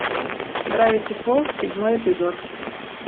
дравити фолз седьмой эпизод